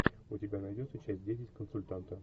у тебя найдется часть десять консультанта